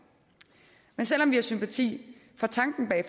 selv om vi har sympati for tanken bag